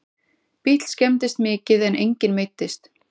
Bíll skemmdist mikið en enginn meiddist